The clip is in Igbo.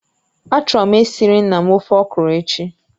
Achọrọ m esiri nna m ofe okro echi